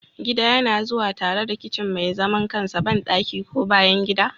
Gida yana zuwa tare da kicin mai zaman kansa, bandaki, ko bayan gida.